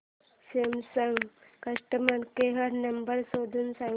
Samsung customer care number शोधून सांग